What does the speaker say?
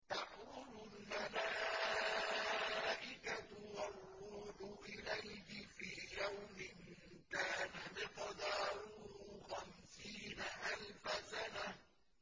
تَعْرُجُ الْمَلَائِكَةُ وَالرُّوحُ إِلَيْهِ فِي يَوْمٍ كَانَ مِقْدَارُهُ خَمْسِينَ أَلْفَ سَنَةٍ